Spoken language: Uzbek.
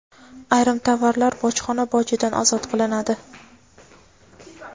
Ayrim tovarlar bojxona bojidan ozod qilinadi.